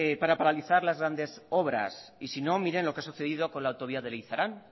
para paralizar las grandes obras y si no mire lo que ha sucedido con la autovía de leizaran